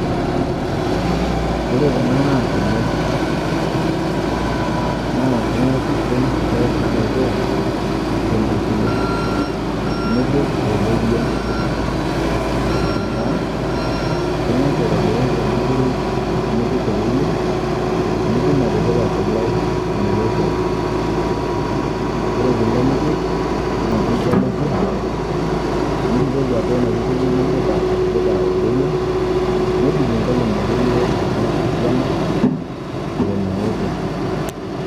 Ore kuna naa kole. Naa ing'as ashum kole naaoto tenkukuri. Nipik oloirien aataa ing'as aotobiru enkukuri nipik oloirien nitum atipika kole meoto. Ore kole nipik naake nitalepuo nibukoki atua ina kukuri nindipa atipika oloirien nebik inkolong'i akeiye naara esiana omeoto.